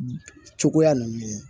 Cogoya ninnu ye